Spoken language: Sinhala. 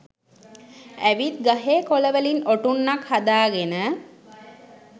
ඇවිත් ගහේ කොළවලින් ඔටුන්නක් හදාගෙන